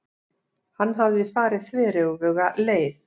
Hann hafði farið þveröfuga leið.